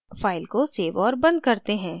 file को save और बंद करते हैं